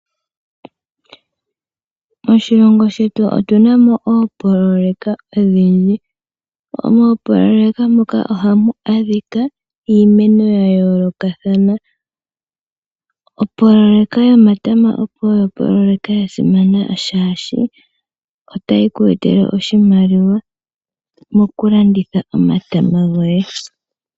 Moshilongo shetu otu na mo oopoloyeka odhindji. Mooloyeka ndhoka ohamu adhika iimeno ya yoolokathana. Opoloyeka yomatama oyo opoloyeka ya simana shaashi otayi ku etele oshimaliwa mokulanditha omatama goye.